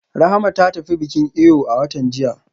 Rahama ta tafi bikin eyo a watan jiya